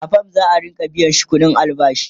a fam za'a Rika biyashi ƙuɗin albashi